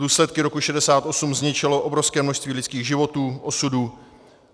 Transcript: Důsledky roku 1968 zničily obrovské množství lidských životů, osudů.